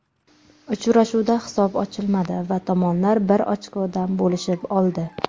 Uchrashuvda hisob ochilmadi va tomonlar bir ochkodan bo‘lishib oldi.